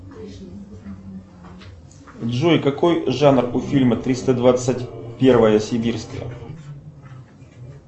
джой какой жанр у фильма триста двадцать первая сибирская